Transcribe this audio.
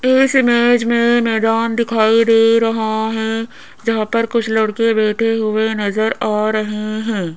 इस इमेज में मैदान दिखाई दे रहा है जहां पर कुछ लड़के बैठे हुए नजर आ रहे हैं।